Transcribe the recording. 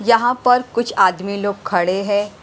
यहाँ पर कुछ आदमी लोग खड़े हैं।